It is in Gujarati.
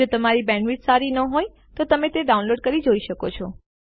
જો તમારી બેન્ડવિડ્થ સારી ન હોય તો તમે ડાઉનલોડ કરીને તે જોઈ શકો છો